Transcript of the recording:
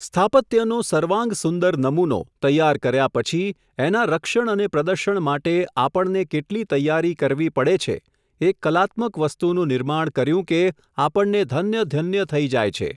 સ્થાપત્યનો સર્વાંગસુંદર નમૂનો, તૈયાર કર્યા પછી, એનાં રક્ષણ અને પ્રદર્શન માટે આપણને કેટલી તૈયારી કરવી પડે છે, એક કલાત્મક વસ્તુનું નિર્માણ કર્યું કે, આપણને ધન્યધન્ય થઈ જાય છે.